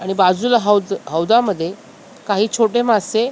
आणि बाजूला हौद हौदामध्ये काही छोटे मासे --